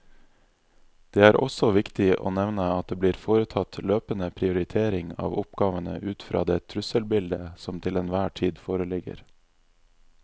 Det er også viktig å nevne at det blir foretatt løpende prioritering av oppgavene ut fra det trusselbildet som til enhver tid foreligger.